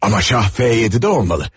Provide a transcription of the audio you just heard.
Amma şah F7-də olmalı.